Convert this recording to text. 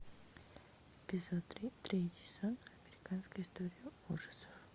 эпизод три третий сезон американская история ужасов